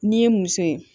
N'i ye muso ye